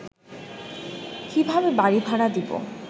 কিভাবে বাড়ি ভাড়া দিবো